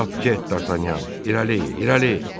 Çap get, Dartanyan, irəli, irəli!